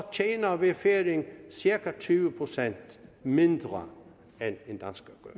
tjener vi færinger cirka tyve procent mindre